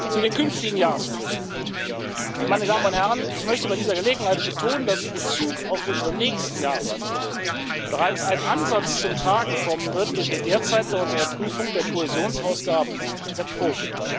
Zu den künftigen Jahresberichten Meine Damen und Herren, ich möchte bei dieser Gelegenheit betonen, dass in Bezug auf unseren nächsten Jahresbericht bereits ein Ansatz zum Tragen kommen wird, den wir derzeit bei unserer Prüfung der Kohäsionsausgaben erproben.